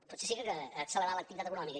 potser sí que accelerarà l’activitat econòmica